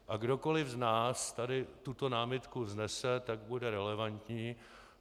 A kdokoli z nás tady tuto námitku vznese, tak bude relevantní.